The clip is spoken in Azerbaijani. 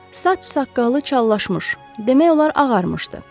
Saç-saqqalı çallaşmış, demək olar ağarmışdı.